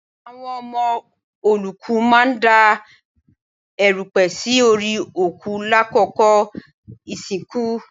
Àwọn ọmọ olóòkú máa ń da èrùpẹ̀ sí orí òkú lákòókò ìsìnkú